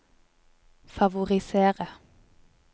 favorisere